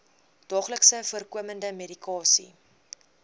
daagliks voorkomende medikasie